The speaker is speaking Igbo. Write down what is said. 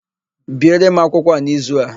Biere m akwụkwọ a n'izu a!